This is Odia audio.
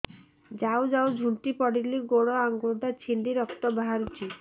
ଯାଉ ଯାଉ ଝୁଣ୍ଟି ପଡ଼ିଲି ଗୋଡ଼ ଆଂଗୁଳିଟା ଛିଣ୍ଡି ରକ୍ତ ବାହାରୁଚି